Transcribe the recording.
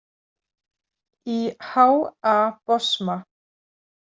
Í H A Bosma.